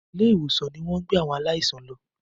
ilé ìwòsan ní wón gbé àwọn aláìsàn ló.